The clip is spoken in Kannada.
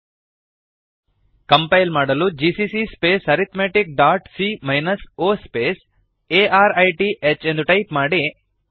ಕಂಪೈಲ್ ಮಾಡಲು ಜಿಸಿಸಿ ಸ್ಪೇಸ್ arithmeticಸಿಎ -o ಸ್ಪೇಸ್ ಆರ್ತಿಃ GCC space arithmetic dot C minus O space A R I T H ಎಂದು ಟೈಪ್ ಮಾಡಿ